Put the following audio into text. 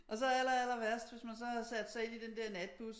Og så aller- allerværst hvis man så havde sat sig ind i den der natbus